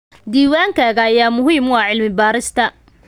Diiwaankayaga ayaa muhiim u ah cilmi-baarista.